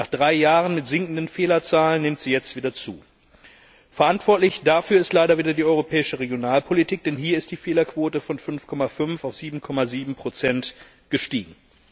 Nach drei Jahren mit sinkenden Fehlerzahlen nimmt die Zahl jetzt wieder zu. Verantwortlich dafür ist leider wieder die europäische Regionalpolitik, denn hier ist die Fehlerquote von 5,5 auf 7,7 gestiegen.